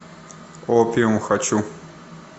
опиум хочу